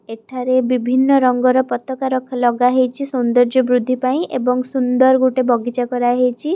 ଏଠାରେ ବିଭିନ୍ନ ରଙ୍ଗ ର ପତକା ରଖା ଲଗା ହେଇଛି ସୌନ୍ଦର୍ଯ୍ୟ ବୃଦ୍ଧି ପାଇଁ ଏବଂ ସୁନ୍ଦର ଗୋଟେ ବଗିଚା କରା ହେଇଛି।